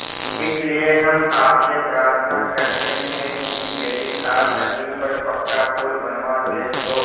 इसलिए हम आपसे प्रार्थना करते हैं कि यदि आप नदी पर पक्का पुल बनवा दे तो